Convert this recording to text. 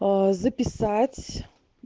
записать